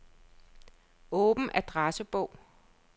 Åbn adressebog.